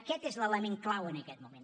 aquest és l’element clau en aquest moment